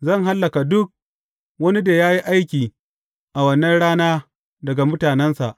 Zan hallaka duk wani da ya yi aiki a wannan rana daga mutanensa.